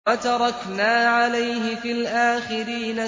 وَتَرَكْنَا عَلَيْهِ فِي الْآخِرِينَ